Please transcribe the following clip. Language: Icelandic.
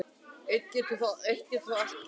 Enn getur þó allt gerst